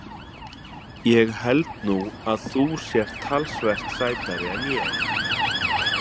Ég held nú að þú sért talsvert sætari en ég.